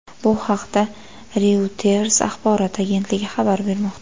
Bu haqda Reuters axborot agentligi xabar bermoqda .